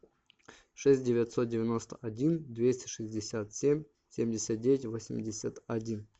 шесть девятьсот девяносто один двести шестьдесят семь семьдесят девять восемьдесят один